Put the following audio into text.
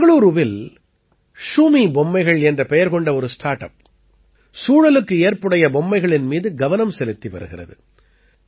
பெங்களூரூவில் ஷூமி பொம்மைகள் என்ற பெயர் கொண்ட ஒரு ஸ்டார்ட் அப் சூழலுக்கு ஏற்புடைய பொம்மைகளின் மீது கவனம் செலுத்தி வருகிறது